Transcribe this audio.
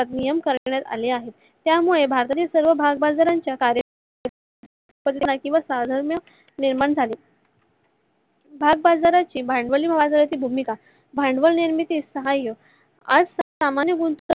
नियम आखण्यात आले आहेत. त्यामुळे बाहेरील सर्व भागबाजाराच्या भागबाजाराची भांडवली व्हावी अशी भूमिका भांडवल निर्मिती सहायक